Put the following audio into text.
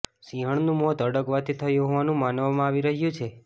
સિંહણનું મોત હડકવાથી થયુ હોવાનું માનવામાં આવી રહ્યુ છે